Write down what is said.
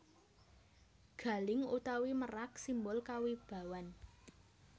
Galing utawi merak simbol kawibawan